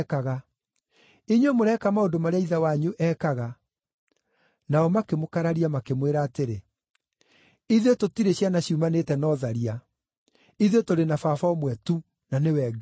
Inyuĩ mũreka maũndũ marĩa ithe wanyu ekaga.” Nao makĩmũkararia makĩmwĩra atĩrĩ, “Ithuĩ tũtirĩ ciana ciumanĩte na ũtharia. Ithuĩ tũrĩ na Baba ũmwe tu, na nĩwe Ngai.”